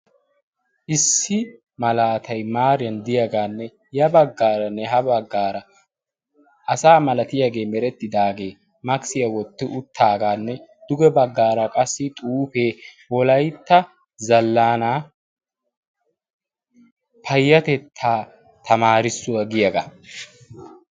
issi malaatay maariyan diyaagaanne ya baggaaranne ha baggaara asa malatiyaagee merettidaagee makisiyaa wotti uttaagaanne duge baggaara qassi xuufee wolaytta zallana payyatettaa tamaarissuwaa giyaagaa